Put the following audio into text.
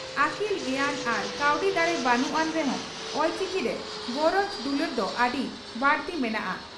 ᱟᱹᱠᱤᱞ ᱜᱮᱭᱟᱱ ᱟᱨ ᱠᱟᱹᱣᱰᱤ ᱫᱟᱲᱮ ᱵᱟᱹᱱᱩᱜ ᱟᱱ ᱨᱮᱦᱚᱸ ᱚᱞᱪᱤᱠᱤ ᱨᱮ ᱜᱚᱨᱚᱡᱽ ᱫᱩᱞᱟᱹᱲ ᱫᱚ ᱟᱹᱰᱤ ᱵᱟᱹᱲᱛᱤ ᱢᱮᱱᱟᱜᱼᱟ ᱾